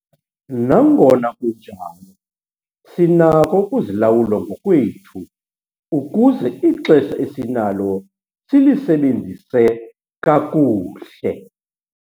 Nangona kunjalo, sinako ukuzilawula ngokwethu ukuze ixesha esinalo silisebenzise kakuhle.